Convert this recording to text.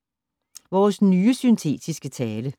Vores nye syntetiske tale